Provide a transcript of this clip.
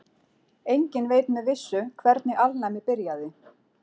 Enginn veit með vissu hvernig alnæmi byrjaði.